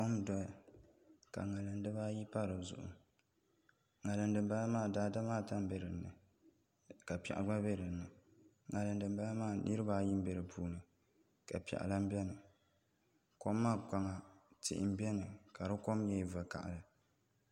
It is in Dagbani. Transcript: Kom n doya ka ŋarim dibaayi pa dizuɣu ŋarim dinbala maa daadama ata n bɛ dinni ka piɛɣu gba bɛ dinni ŋarim dinbala maa mii nirabaayi n bɛ di puuni ka piɛɣu lahi biɛni kom maa kpaŋa tihi n biɛni ka di kom nyɛ vakaɣali